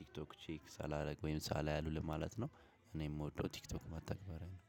ቲክቶክ ቼክ ሳላደርግ ወይም ሳላይ አልውልም ማለት ነው። እኔ የምወደው ቲክቶክ መተግበሪያ ነው።